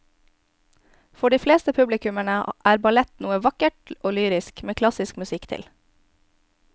For de fleste publikummere er ballett noe vakkert og lyrisk med klassisk musikk til.